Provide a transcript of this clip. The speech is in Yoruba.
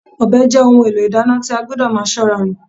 Ọbẹ̀ jẹ́ ohun èlò ìdáná tí a gbọdọ̀ máa ṣọ́ra lò